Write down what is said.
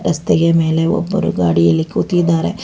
ರಸ್ತೆಗೆ ಮೇಲೆ ಒಬ್ಬರು ಗಾಡಿಯಲ್ಲಿ ಕೂತಿದ್ದಾರೆ.